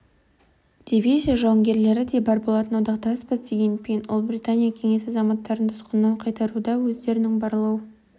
дивизия жауынгерлері де бар болатын одақтаспыз деген пен ұлыбритания кеңес азаматтарын тұтқыннан қайтаруда өздерінің барлау